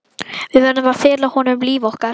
Við verðum að fela honum líf okkar.